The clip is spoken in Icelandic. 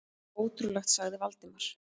Ótrúlegt sagði Valdimar.